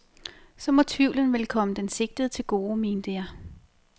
Så må tvivlen vel komme den sigtede til gode, mente jeg.